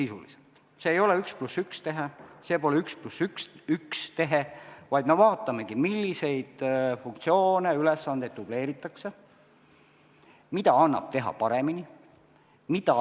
See ei ole 1 + 1 tehe, vaid me vaatamegi, milliseid funktsioone ja ülesandeid dubleeritakse, mida annab teha paremini.